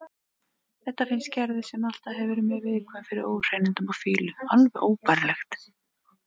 Þetta finnst Gerði, sem alltaf hefur verið mjög viðkvæm fyrir óhreinindum og fýlu, alveg óbærilegt.